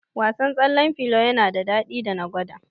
Wasan tsallen filo yana da daɗi da na gwada